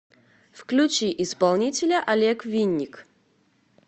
включи исполнителя олег винник